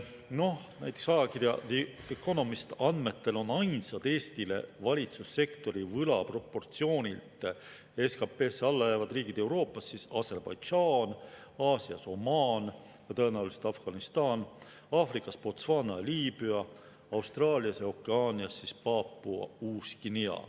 Noh, näiteks ajakirja The Economist andmetel on ainsad Eestile valitsussektori võla proportsioonilt SKT-sse alla jäävad riigid Euroopas Aserbaidžaan, Aasias Omaan ja tõenäoliselt Afganistan, Aafrikas Botswana ja Liibüa, Austraalias ja Okeaanias Paapua Uus-Guinea.